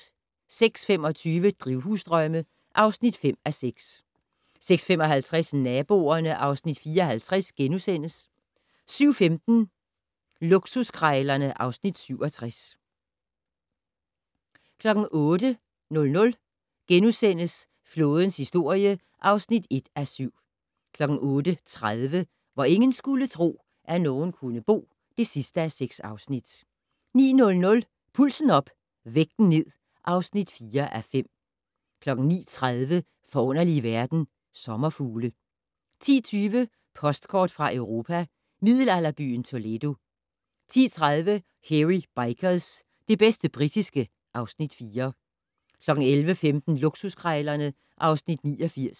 06:25: Drivhusdrømme (5:6) 06:55: Naboerne (Afs. 54)* 07:15: Luksuskrejlerne (Afs. 67) 08:00: Flådens historie (1:7)* 08:30: Hvor ingen skulle tro, at nogen kunne bo (6:6) 09:00: Pulsen op - vægten ned (4:5) 09:30: Forunderlige verden - Sommerfugle 10:20: Postkort fra Europa: Middelalderbyen Toledo 10:30: Hairy Bikers - det bedste britiske (Afs. 4) 11:15: Luksuskrejlerne (Afs. 89)